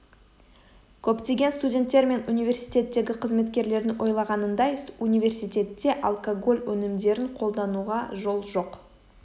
көптеген студенттер мен университеттегі қызметкерлердің ойлағанындай университетте алкоголь өнімдерін қолдануға жол жоқ